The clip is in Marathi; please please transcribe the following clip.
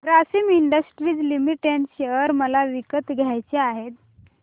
ग्रासिम इंडस्ट्रीज लिमिटेड शेअर मला विकत घ्यायचे आहेत